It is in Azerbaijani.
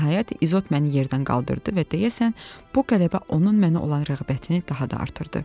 Nəhayət İzot məni yerdən qaldırdı və deyəsən bu qələbə onun mənə olan rəğbətini daha da artırdı.